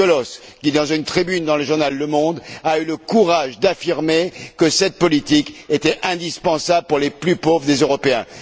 Cioloş, qui, dans une tribune du journal Le Monde a eu le courage d'affirmer que cette politique était indispensable pour les plus pauvres des Européens.